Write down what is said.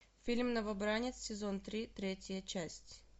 фильм новобранец сезон три третья часть